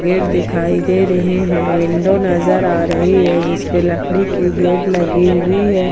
Gate दिखाई दे रहे है विंडो नजर आ रही है जिसपे लकड़ी की गेट लगी हुई है।